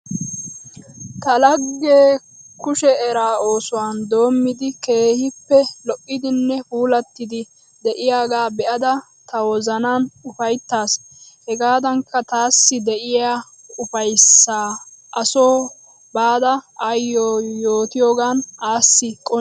Ta laggee kushe eraa oosuwa doommidi keehippe lo'idinne puulattidi de'iyagaa be'ada ta wozanan ufayittaas. Hegaadankka taassi de'iya ufayissaa a soo baada ayyo yootiyogaan assi qonccissaas.